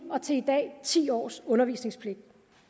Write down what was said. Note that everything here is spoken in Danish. og til i dag ti års undervisningspligt